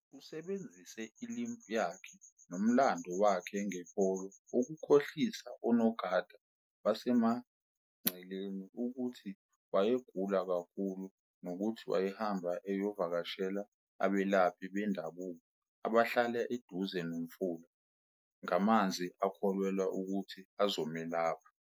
Usebenzise i-limp yakhe nomlando wakhe nge-polio ukukholhisa onogada basemngceleni ukuthi wayegula kakhulu nokuthi wayehamba eyovakashela abelaphi bendabuko abahlala eduze nomfula ngamanzi akholelwa ukuthi azomelapha.